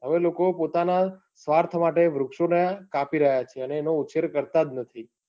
હવે લોકો પોતાના સ્વાર્થ માટે વૃક્ષને કાપી રહ્યા છે. અને એનો ઉચ્છેર કરતા જ નથી.